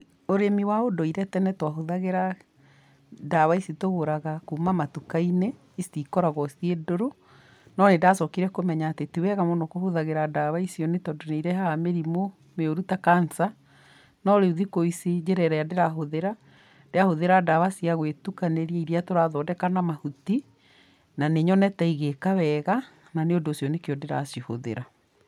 Ũrĩmi wa ũndũire tene twahũthagĩra ndawa ici tũgũraga kuma matuka-inĩ, ici ikoragwo ciĩ ndũrũ. No nĩndacokire kũmenya atĩ tiwega mũno kũhũthagĩra ndawa icio nĩ tondũ nĩirehaga mĩrimũ mĩũru, ta cancer. No rĩu thikũ ici njĩra ĩrĩa ndĩrahũthĩra, ndĩrahũthĩra ndawa cia gũĩtukanĩria iria tũrathondeka na mahuti, na nĩnyonete igĩka wega, na nĩũndũ ũcio nĩkĩo ndĩracihũthĩra.